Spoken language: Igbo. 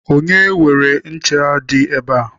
Onye weere ncha dị ebe a?